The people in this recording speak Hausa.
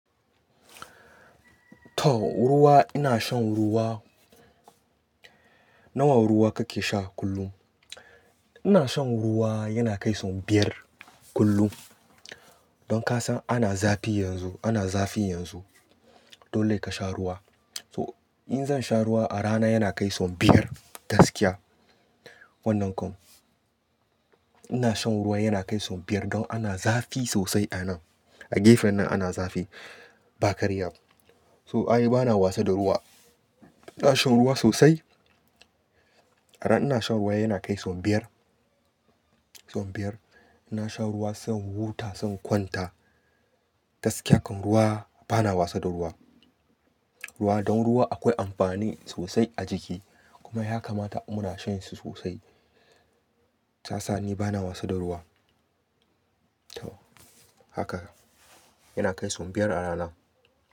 Toh ruwa ina shan ruwa. Nawa ruwa kake sha kullum? Ina shan ruwa yana kai so biyar kullum. Don kasan ana zafi yanzu, ana zafi yanzu. Dole ka sha ruwa. To, in zan sha ruwa a rana yana kai so biyar gaskiya. Wannan kam, ina shan ruwa yana kai so biyar don ana zafi sosai a nan. A gefen nan ana zafi, ba karya. To, ai bana wasa da ruwa. Ina shan ruwa sosai. A rana ina shan ruwa yana kai so biyar, so biyar. Ina shan ruwa sai in huta, sai in kwanta. Gaskiya kam ruwa bana wasa da ruwa. Ruwa, don ruwa akwai amfani sosai a jiki. Kuma yakamata muna shanshi sosai. Shiyasa ni bana wasa da ruwa. Toh, haka yana kai so biyar a rana.